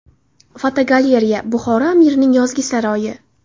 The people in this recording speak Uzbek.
Fotogalereya: Buxoro amirining yozgi saroyi.